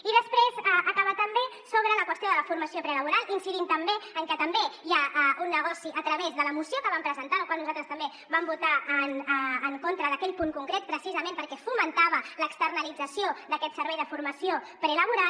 i després acabar també sobre la qüestió de la formació prelaboral incidint també en que també hi ha un negoci a través de la moció que vam presentar en la qual nosaltres també vam votar en contra d’aquell punt concret precisament perquè fomentava l’externalització d’aquest servei de formació prelaboral